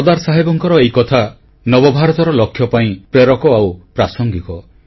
ସର୍ଦ୍ଦାର ସାହେବଙ୍କର ଏହି କଥା ନବଭାରତର ଲକ୍ଷ୍ୟ ପାଇଁ ପ୍ରେରକ ଆଉ ପ୍ରାସଙ୍ଗିକ